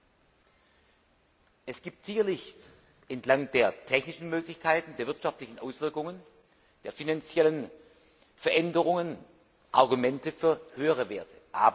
Sicherlich gibt es entlang der technischen Möglichkeiten, der wirtschaftlichen Auswirkungen, der finanziellen Veränderungen Argumente für höhere Werte.